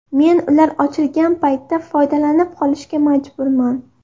Men ular ochilgan paytda foydalanib qolishga majburman.